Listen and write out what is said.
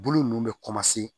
Bolo ninnu bɛ